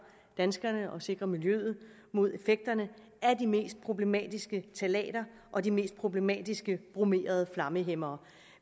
danskerne og sikre miljøet mod effekterne af de mest problematiske ftalater og de mest problematiske bromerede flammehæmmere